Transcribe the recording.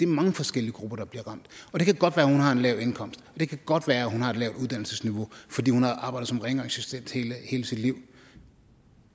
mange forskellige grupper der bliver ramt det kan godt være at hun har en lav indkomst og det kan godt være at hun har et lavt uddannelsesniveau fordi hun har arbejdet som rengøringsassistent hele sit liv